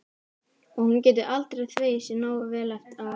Og hún getur aldrei þvegið sér nógu vel á eftir.